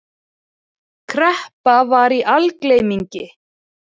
Kreppa var í algleymingi.